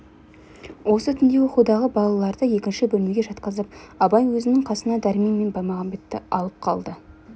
осы түнде оқудағы балаларды екінші бөлмеге жатқызып абай өзінің қасына дәрмен мен баймағамбетті алып қалды